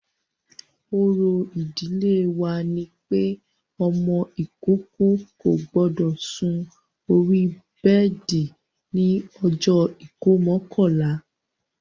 Òrò ìdílé wa ni pé ọmọ ìkókó kò gbọdọ̀ sun orí bẹ́ẹ̀di ní ọjọ́ ìkómọ kọ̀la